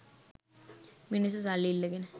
මිනිස්‌සු සල්ලි ඉල්ලගෙන